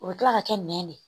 O bɛ kila ka kɛ nɛn de ye